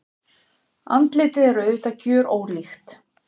Andlitið er auðvitað gjörólíkt.